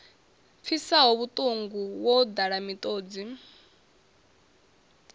pfisaho vhuṱungu wo ḓala miṱodzi